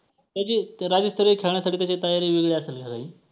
त्याची ते राज्यस्तरीय खेळण्यासाठी त्याची तयारी वेगळी असेल ना काही?